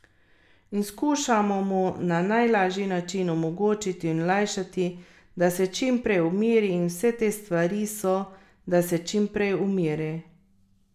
In skušamo mu na najlažji način omogočiti in olajšati, da se čimprej umiri in vse te stvari so, da se čimprej umiri.